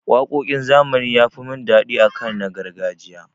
Waƙoƙin zamani ya fi mun daɗi akan na gargajiya.